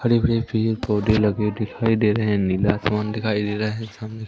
हरे भरे पेड़ पौधे लगे दिखाई दे रहें हैं नीला आसमान दिखाई दे रहा हैं सामने--